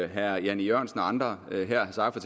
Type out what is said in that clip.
herre jan e jørgensen og andre her har sagt